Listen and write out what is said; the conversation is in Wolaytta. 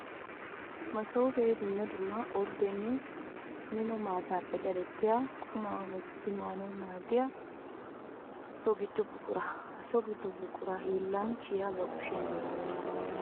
Masoope dumma dumma orddenne mino maatappe daddettiya qumaa wottiddi maanawu maadiyaso gido buqura. Ha so gido buqura hiillanchchiya ba kushiyan daddawusu.